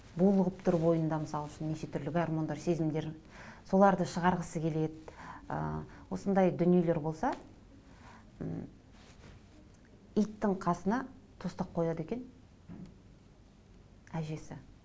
булығып тұр бойында мысал үшін неше түрлі гармондар сезімдер соларды шығарғысы келеді ы осындай дүниелер болса м иттің қасына тостақ қояды екен әжесі